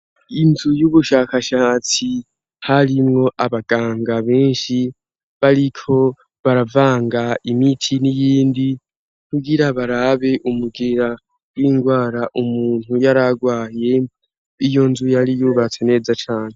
Inzu y'ubushakashatsi harimwo abaganga benshi bariko baravanga imiti n'iyindi, kugira barabe umugera w'indwara umuntu yararwaye. Iyo nzu yari yubatse neza cane.